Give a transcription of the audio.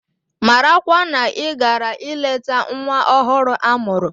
Marakwa na ị gara ileta nwa ọhụrụ a mụrụ!